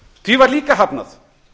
því var líka hafnað